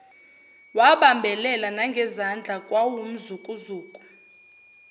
wabambelela nangezandla kwawumzukuzuku